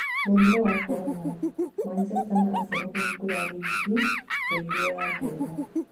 Mũrimũ wa Korona: Macheta na Aseno kũhingũra rĩngĩ Rigi ya Ngeretha.